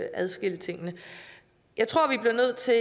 at adskille tingene jeg tror vi bliver nødt til